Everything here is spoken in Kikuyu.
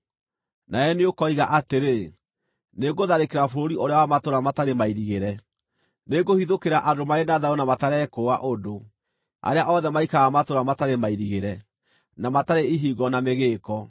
Nawe nĩũkoiga atĩrĩ, “Nĩngũtharĩkĩra bũrũri ũrĩa wa matũũra matarĩ mairigĩre; nĩngũhithũkĩra andũ marĩ na thayũ na matarekũũa ũndũ, arĩa othe maikaraga matũũra matarĩ mairigĩre, na matarĩ ihingo na mĩgĩĩko.